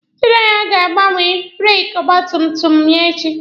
Chidera ga-agbanwe breeki ọgba tum tum ya echi.